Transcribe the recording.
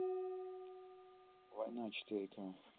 война четыре к